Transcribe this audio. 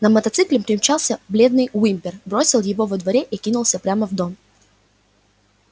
на мотоцикле примчался бледный уимпер бросил его во дворе и кинулся прямо в дом